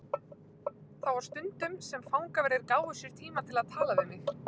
Þá var það stundum sem fangaverðir gáfu sér tíma til að tala við mig.